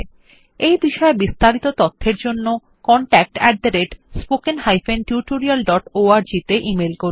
এই বিষয় বিস্তারিত তথ্যের জন্য contactspoken tutorialorg তে ইমেল করুন